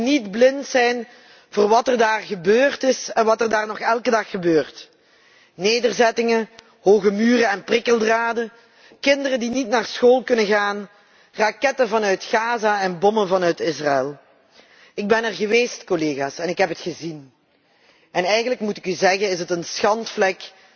Wij mogen niet blind zijn voor wat daar gebeurd is en wat daar nog elke dag gebeurt nederzettingen hoge muren en prikkeldraden, kinderen die niet naar school kunnen gaan, raketten vanuit Gaza en bommen vanuit Israel. Ik ben er geweest en ik heb het gezien. En eigenlijk moet ik u zeggen het is een schandvlek